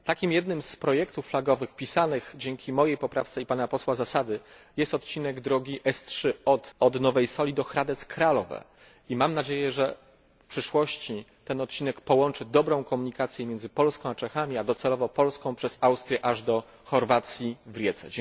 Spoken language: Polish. Jednym z takich projektów flagowych, wpisanych dzięki mojej poprawce i posła Zasady, jest odcinek drogi S 3 od Nowej Soli do Hradec Kralove i mam nadzieję, że w przyszłości ten odcinek połączy dobrą komunikację między Polską a Czechami, a docelowo Polską przez Austrię aż do Chorwacji w Rijece.